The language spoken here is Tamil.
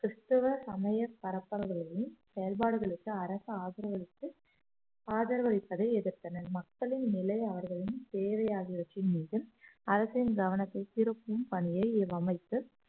கிறிஸ்தவ சமய பரப்பர்களின் செயல்பாடுகளுக்கு அரசு ஆதரவு அளித்து ஆதரவு அளிப்பதை எதிர்த்தனர் மக்களின் நிலை அவர்களின் தேவை ஆகியவற்றின் மீதும் அரசின் கவனத்தை திருப்பும் பணியை இவ்வமைப்பு